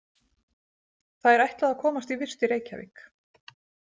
Þær ætluðu að komast í vist í Reykjavík.